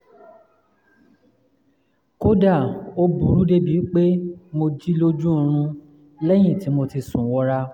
kódà ó burú débi pé mo jí lójú oorun lẹ́yìn tí mo ti sùn wọra